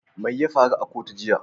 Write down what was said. Mai ya faru a kotu jiya?